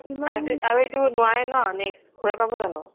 আৰু আৰু এইটো নোৱাৰে ন next ঘুৰাই পাব জানো